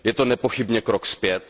Je to nepochybně krok zpět.